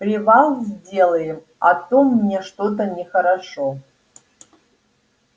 привал сделаем а то мне что-то нехорошо